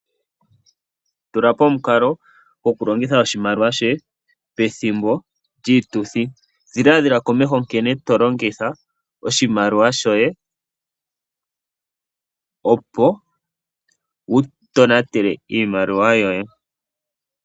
Tulapo omukalo goku longitha oshimaliwa shoye pethimbo djii tuthi. dhiladhila komeho nkene tolongitha oshimaliwa shoye, opo wu tonatele iimaliwa yoye.